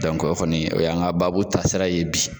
o kɔni, o y'an ka babu taa sira ye bi.